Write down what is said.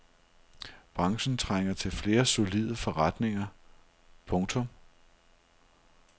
Branchen trænger til flere solide forretninger. punktum